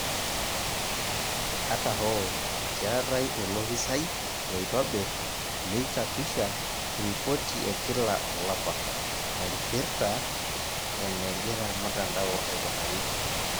Ata hoo, keetai olopisai loitobirr neichapisha ripoti ekila olapa, naipirta enegira mtandao aikunari.